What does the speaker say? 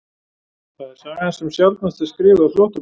Það er sagan sem sjaldnast er skrifuð af flóttamönnum